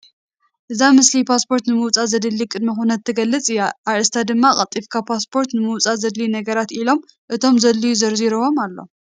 እዛ ምስሊ ፓስፖርት ንምውፃእ ዘድሊ ቅድመ ኩነት ትገልፅ እያ ፡፡ አርእስታ ድማ ቀልጢፍካ ፓስፖርት ንምውፃእ ዘድልዩ ነገራት ኢሉ እቶም ዘድልዩ ዘርዚሩዎም አሎ፡፡